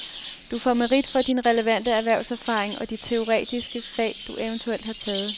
Du får merit for din relevante erhvervserfaring og de teoretiske fag, du eventuelt har taget.